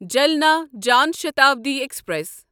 Jalna Jan Shatabdi express